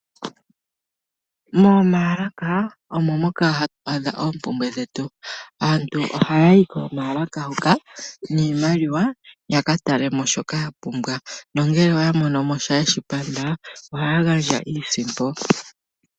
Momayalaka omo moka hatu adha oompumbwe dhetu. Aantu oha yayi komayalaka hoka niimaliwa yaka talemo shoka ya pumbwa nongele oya monomosha yeshi panda ohaya gandja iisimpo.